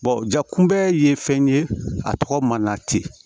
ja kunbɛnli ye fɛn ye a tɔgɔ ma na ten